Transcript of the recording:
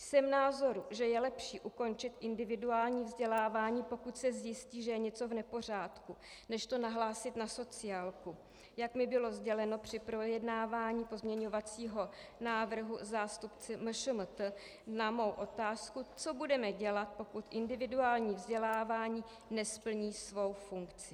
Jsem názoru, že je lepší ukončit individuální vzdělávání, pokud se zjistí, že je něco v nepořádku, než to nahlásit na sociálku, jak mi bylo sděleno při projednávání pozměňovacího návrhu zástupci MŠMT na mou otázku, co budeme dělat, pokud individuální vzdělávání nesplní svou funkci.